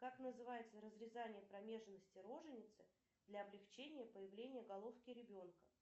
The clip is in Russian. как называется разрезание промежности роженицы для облегчения появления головки ребенка